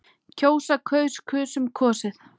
kjósa- kaus- kusum- kosið